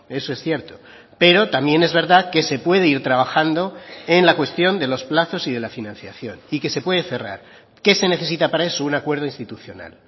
eso es cierto pero también es verdad que se puede ir trabajando en la cuestión de los plazos y de la financiación y que se puede cerrar qué se necesita para eso un acuerdo institucional